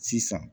Sisan